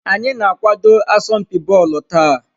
Anyị na-akwado asọmpi bọọlụ taa.